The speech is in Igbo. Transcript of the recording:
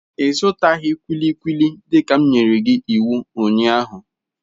Ị zụtaghị kulikuli dịka m nyere iwu ụnyaahụ.